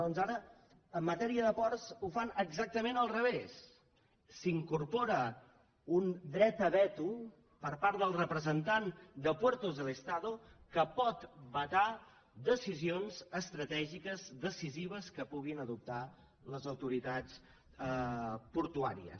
doncs ara en matèria de ports ho fan exactament al revés s’incorpora un dret a veto per part del representant de puertos del estado que pot vetar decisions estratègiques decisives que puguin adoptar les autoritats portuàries